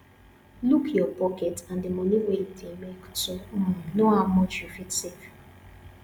look your pocket and di money wey you dey make to um know how much you fit save